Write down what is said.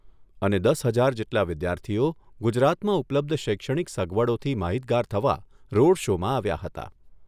અને દસ હજાર જેટલા વિદ્યાર્થીઓ ગુજરાતમાં ઉપલબ્ધ શૈક્ષણિક સગવડોથી માહિતગાર થવા રોડ શોમાં આવ્યા હતા.